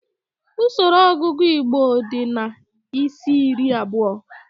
Usoro ọgụgụ igbo di na isi-iri abụọ